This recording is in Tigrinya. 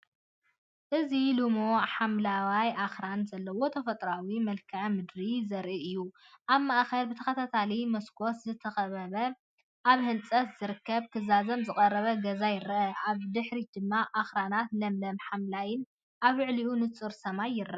እዚ ልሙዕ ሓምላይን ኣኽራንን ዘለዎ ተፈጥሮኣዊ መልክዓ ምድሪ ዘርኢ እዩ። ኣብ ማእከል ብተኸታታሊ መስኮት ዝተኸበበ ኣብ ህንጸት ዝርከብን ክዛዘም ዝቐረበን ገዛ ይርአ። ኣብ ድሕሪት ድማ ኣኽራንን ለምለም ሓምላይን ኣብ ልዕሊ ንጹር ሰማይ ይርአ።